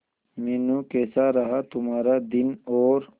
मीनू कैसा रहा तुम्हारा दिन और